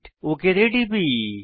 আমি ওক তে টিপি